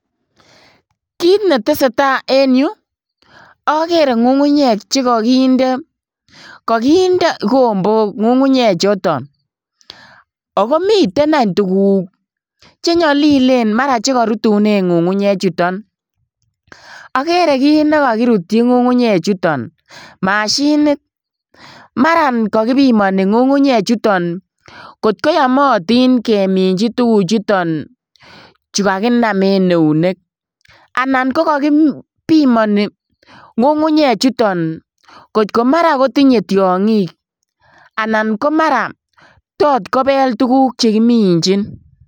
Kit netesee taa en yu okere ngungunyek chekokinde, kokinde igombok ngungunyechuton okomiten any tuguk chenyolilen maran chekorutunen ngungunyechuton, okere kit nekokirutyi ngungunychuton mashinit maran kokibimoni ngungunyechuton kot koyomotin keminchi tuguchuton chu kakinam en eunek anan kokokibimoni ngungunyechuton kot komara kotinye tiongik anan komara tot kobel tuguk chekiminchin.